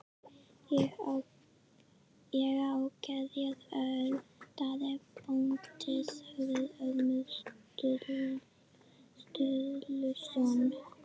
Ég á gerjað öl, Daði bóndi, sagði Ormur Sturluson.